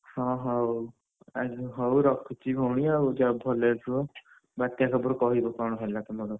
ହଁ ହଉ ଆ ହଉ ରଖୁଛି ଭଉଣୀ ଆଉ, ଯାଅ ଭଲରେ ରୁହ ବାତ୍ୟା ଖବର କହିବ ତମର କଣ ହେଲା ତମର।